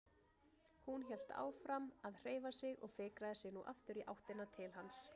Hún hélt áfram að hreyfa sig og fikraði sig nú aftur í áttina til hans.